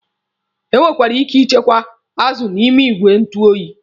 E nwekwere ike ichekwa azụ n'ime igwe njụ oyi.